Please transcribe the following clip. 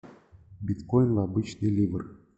биткоин обычный ливр